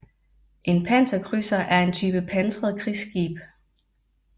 En panserkrydser er en type pansret krigsskib